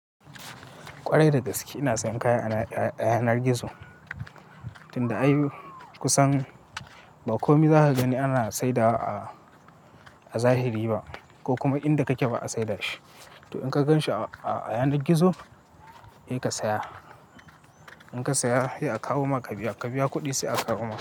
Kwarai da gaske ina sayan kaya a yanar gizo. Inda ayi kusan ba kome zaka gani ana saidawa a zahiri ba ko kuma inda kake ba a saida shi. To in ka ganshi a yanar gizo, sai ka saya. In ka saya, sai a kawo maka biya. Ka biya kuɗi sai a kawo maka.